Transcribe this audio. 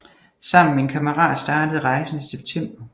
Sammen med en kammerat startede rejsen i september